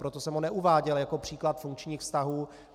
Proto jsem ho neuváděl jako příklad funkčních vztahů.